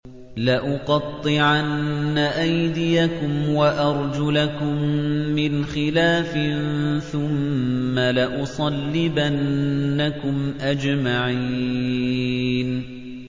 لَأُقَطِّعَنَّ أَيْدِيَكُمْ وَأَرْجُلَكُم مِّنْ خِلَافٍ ثُمَّ لَأُصَلِّبَنَّكُمْ أَجْمَعِينَ